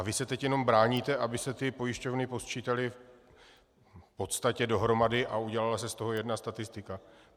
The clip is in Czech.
A vy se teď jenom bráníte, aby se ty pojišťovny posčítaly v podstatě dohromady a udělala se z toho jedna statistika.